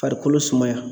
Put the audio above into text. Farikolo sumaya